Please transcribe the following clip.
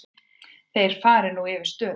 Þeir fari nú yfir stöðuna.